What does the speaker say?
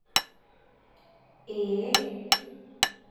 Eeeeh.